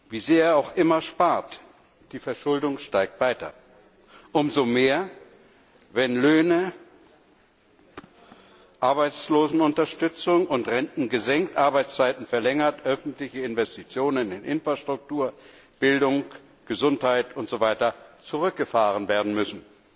Wie sehr er auch immer spart, die Verschuldung steigt weiter umso mehr, wenn Löhne, Arbeitslosenunterstützung und Renten gesenkt, Arbeitszeiten verlängert, öffentliche Investitionen in Infrastruktur, Bildung, Gesundheit usw. zurückgefahren werden müssen.